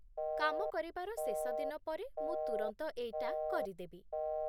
କାମ କରିବାର ଶେଷ ଦିନ ପରେ ମୁଁ ତୁରନ୍ତ ଏଇଟା କରିଦେବି ।